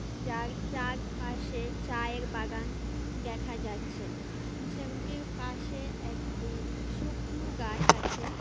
যার চারপাশে চায়ের বাগান দেখা যাচ্ছে ঝিমটির পাশে একটি শুকনো গাছ আছে।